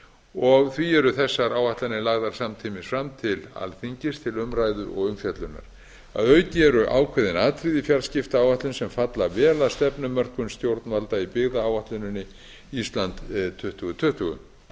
og því eru þessar áætlanir lagðar samtímis fram til alþingis til umræðu og umfjöllunar að auki eru ákveðin atriði í fjarskiptaáætlun sem falla vel að stefnumörkun stjórnvalda í byggðaáætluninni ísland tuttugu tuttugu